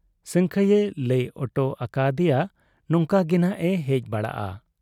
ᱥᱟᱹᱝᱠᱷᱟᱹᱭᱮ ᱞᱟᱹᱭ ᱚᱴᱚ ᱟᱠᱟ ᱟᱫᱮᱭᱟ ᱱᱚᱝᱠᱟ ᱜᱮᱱᱷᱟᱜ ᱮ ᱦᱮᱡ ᱵᱟᱲᱟᱜ ᱟ ᱾